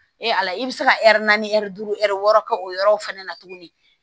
Ee ala i bɛ se ka naani duuru wɔɔrɔ kɛ o yɔrɔ fɛnɛ na tuguni